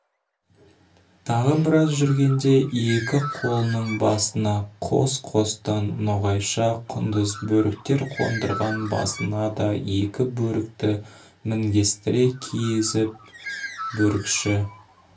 тағы біраз жүргенде екі қолының басына қос-қостан ноғайша құндыз бөріктер қондырған басына да екі бөрікті мінгестіре кигізіп бөрікші